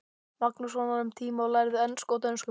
Magnússonar um tíma og lærðu ensku og dönsku.